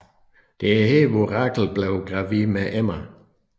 Det er her hvor Rachel bliver gravid med Emma